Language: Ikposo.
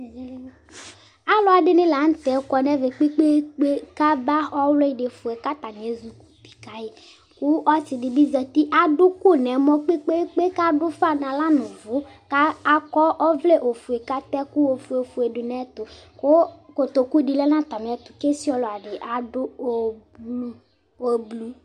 ạluɛdini lɑtɛ kɔnɛmɛkpɛkpɛkpɛ kạba ɔwlidifuɛ kɑtɑni ɛzukutikɑyi ku ɔsidibizati ɑduku nɛmɔ kpɛkpɛkpɛ kɑdu ufɑ nɑla nu uvu kɑkɔ ɔvlɛ ɔfuɛ kɑduku ɔfuɛ ɔfuɛ dunɛtu ku kotokudilɛ nɑtɑmiɛto kɛsialɑdi ɑdu ofuɛ